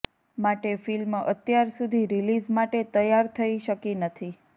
માટે ફિલ્મ અત્યારસુધી રિલીઝ માટે તૈયાર થઇ શકી નથી